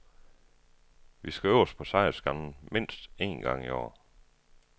Vi skal øverst på sejrsskamlen mindst en gang i år.